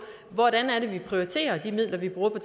hvordan det er vi prioriterer de midler vi bruger på